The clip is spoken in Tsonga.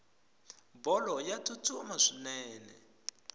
bolo ya tstutsuma swinene